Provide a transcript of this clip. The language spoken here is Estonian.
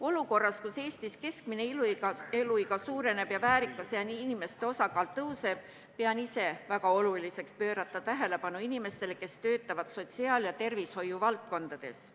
Olukorras, kus Eestis keskmine eluiga pikeneb ja väärikas eas inimeste osakaal suureneb, pean väga oluliseks pöörata tähelepanu inimestele, kes töötavad sotsiaal- ja tervishoiuvaldkonnas.